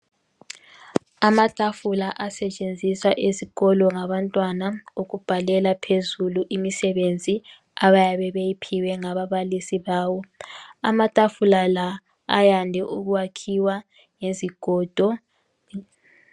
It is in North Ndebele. Amatafula asetshenziswa ezikolo ngabantwana ukubhalela phezulu imisebenzi abayabe beyiphiwe ngababalisi babo. Amatafula la ayande ukwakhiwa ngezigodo.